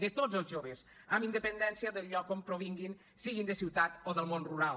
de tots els joves amb independència del lloc d’on provinguin siguin de ciutat o del món rural